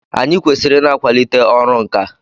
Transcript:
Anyị kwesịrị ị na-akwalite ọrụ nkà.